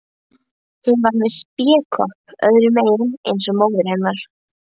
Hún var með spékopp öðrum megin eins og móðir hennar.